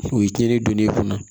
U ye tiɲɛni donn'e kunna